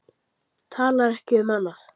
Talar ekki um annað.